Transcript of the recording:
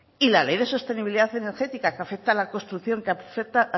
y la ley de sostenibilidad energética que afecta a la construcción que afecta